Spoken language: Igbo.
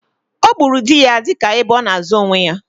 Ọ gburu di ya dị ka ebe ona azo onwe ya